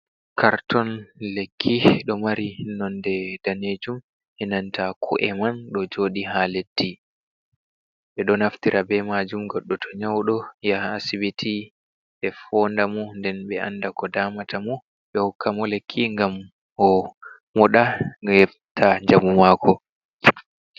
Karton lekki, ɗon mari nonnde danejum enanta ko’e man ɗo joɗi ha leddi, ɓeɗon naftira be majum goɗɗo toh nyauɗo yaha asibiti ɓe foondamo nden ɓe anda koh damatamo, ɓehokkamo lekki ngam omoɗa ohefta njamu mako.